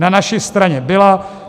Na naší straně byla.